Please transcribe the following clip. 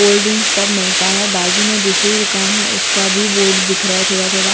cold drink सब मिलता है बाजू में दूसरी दुकान है उसका भी बोर्ड दिख रहा है थोड़ा थोड़ा--